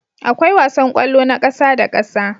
Akwai wasan kwallo na ƙasa da ƙasa